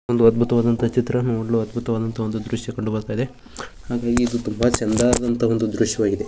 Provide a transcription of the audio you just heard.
ಒಂದು ಅದ್ಭುತವಾದಂತ ಚಿತ್ರ ನೋಡಲು ಅದ್ಭುತವಾದಂತಹ ದೃಶ್ಯ ಕಂಡು ಬರುತ್ತಾ ಇದೆ ಹಾಗಾಗಿ ಇದು ತುಂಬಾ ಚೆಂದದಂತ ಒಂದು ದೃಶ್ಯವಾಗಿದೆ.